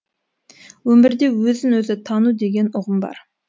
өмірде өзін өзі тану деген ұғым бар